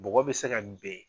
Bɔgɔ bɛ se ka ben